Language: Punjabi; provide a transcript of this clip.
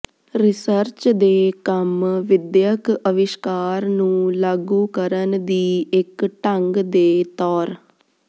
ਰਿਸਰਚ ਦੇ ਕੰਮ ਵਿਦਿਅਕ ਅਵਿਸ਼ਕਾਰ ਨੂੰ ਲਾਗੂ ਕਰਨ ਦੀ ਇੱਕ ਢੰਗ ਦੇ ਤੌਰ